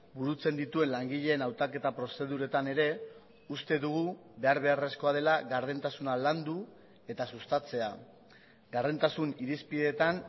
burutzen dituen langileen hautaketa prozeduretan ere uste dugu behar beharrezkoa dela gardentasuna landu eta sustatzea gardentasun irizpidetan